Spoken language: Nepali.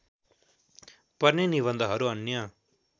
पर्ने निबन्धहरू अन्य